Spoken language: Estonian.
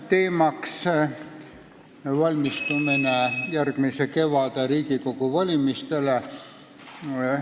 Teemaks on valmistumine Riigikogu valimisteks järgmisel kevadel.